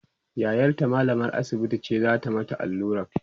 yayarta mallamar asibiti ce zata mata alluran